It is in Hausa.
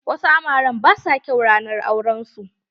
Wasu amaren ba sua kyau ranar auren su.